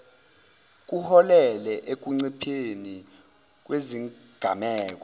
kuholele ekuncipheni kwezigameko